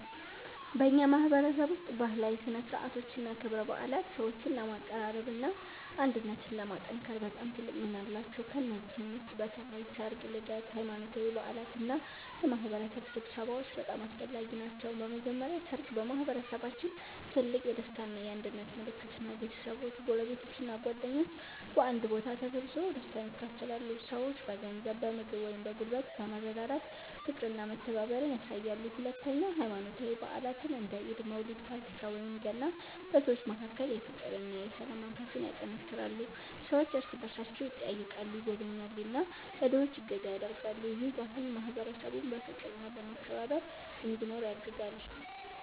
በእኛ ማህበረሰብ ውስጥ ባህላዊ ሥነ ሥርዓቶችና ክብረ በዓላት ሰዎችን ለማቀራረብና አንድነትን ለማጠናከር በጣም ትልቅ ሚና አላቸው። ከእነዚህ ውስጥ በተለይ ሠርግ፣ ልደት፣ ሃይማኖታዊ በዓላት እና የማህበረሰብ ስብሰባዎች በጣም አስፈላጊ ናቸው። በመጀመሪያ ሠርግ በማህበረሰባችን ትልቅ የደስታ እና የአንድነት ምልክት ነው። ቤተሰቦች፣ ጎረቤቶች እና ጓደኞች በአንድ ቦታ ተሰብስበው ደስታን ያካፍላሉ። ሰዎች በገንዘብ፣ በምግብ ወይም በጉልበት በመረዳዳት ፍቅርና መተባበርን ያሳያሉ። ሁለተኛ ሃይማኖታዊ በዓላት እንደ ኢድ፣ መውሊድ፣ ፋሲካ ወይም ገና በሰዎች መካከል የፍቅርና የሰላም መንፈስ ያጠናክራሉ። ሰዎች እርስ በእርሳቸው ይጠያየቃሉ፣ ይጎበኛሉ እና ለድሆች እገዛ ያደርጋሉ። ይህ ባህል ማህበረሰቡን በፍቅርና በመከባበር እንዲኖር ያግዛል።